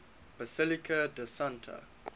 basilica di santa